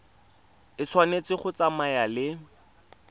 e tshwanetse go tsamaya le